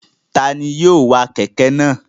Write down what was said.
Ta ni yóò wa kẹ̀kẹ́ náà?